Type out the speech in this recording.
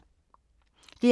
DR K